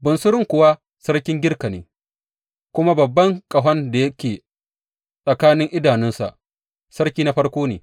Bunsurun kuwa sarkin Girka ne, kuma babban ƙahon da yake tsakanin idanunsa, sarki na farko ne.